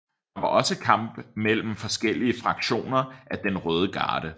Der var også kampe mellem forskellige fraktioner af den røde garde